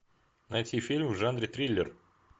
найти фильм в жанре триллер